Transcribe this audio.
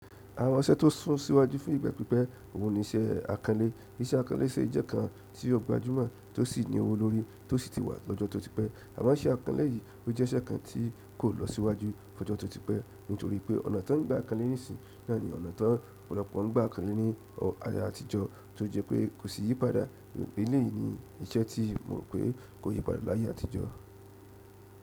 Àwọn iṣẹ́ tó sún síwájú fún ìgbà pípẹ́ òun ni iṣẹ́ akànlé. Iṣẹ́ akànlé ṣe ìsẹ́ kan tí ó gbajúmọ̀ tó sì ní owó lórí tó sì ti wà lọ́jọ́ tó ti pẹ́. Àmo iṣẹ́ akànlé yìí ó jẹ́ iṣẹ́ kan tí kò lọ síwájú lọ́jọ́ tó ti pẹ́ nítorí pé ọ̀nà tán gba kanlé nísìnyí náà ni ọ̀nà ti ọ̀pọ̀lọpọ̀ ń gba kanlé ní ayé àtijọ́ tí ó jẹ́ pé kò sì yí padà. Eléyìí ni iṣẹ́ tí mo rò pé kò yí padà láyé àtijọ́.